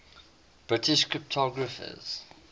british cryptographers